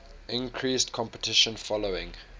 increased competition following